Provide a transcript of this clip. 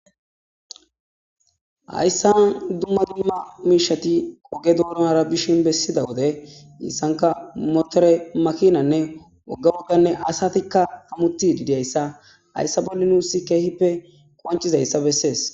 Hayssan dumma dumma miishati oge donara bishin bessida wode issanka motore makinanne wogga wogganne asatikka hemmetidi diya asa .Hayssa bolli nuussi keehippe qoncciza issa bessees.